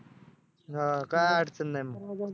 हां काय अडचण नाही मग